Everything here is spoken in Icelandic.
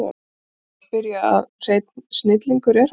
Ekki er nú að því að spyrja að hreinn snillingur er hann